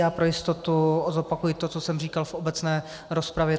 Já pro jistotu zopakuji to, co jsem říkal v obecné rozpravě.